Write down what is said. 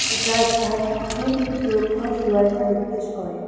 যা স্থানটির সুরক্ষা ও সীমারেখা নির্দেশ করে।